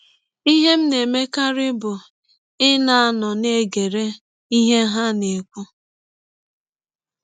Ihe m na - emekarị bụ ịnọ na - egere ihe ha na - ekwụ.